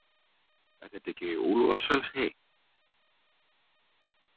Er þetta ekki Úlfarsfellshey?